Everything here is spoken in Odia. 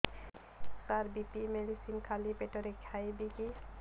ସାର ବି.ପି ମେଡିସିନ ଖାଲି ପେଟରେ ଖାଇବି କି